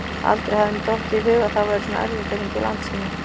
Aldrei hafði henni dottið í hug að það væri svona erfitt að hringja í Landsímann.